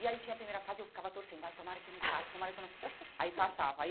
E aí tinha a primeira fase, eu ficava torcendo, ai, tomara que eu não passe, tomara que eu não... Aí passava.